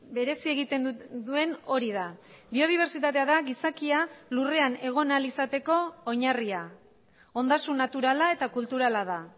berezi egiten duen hori da biodibertsitatea da gizakia lurrean egon ahal izateko oinarria ondasun naturala eta kulturala da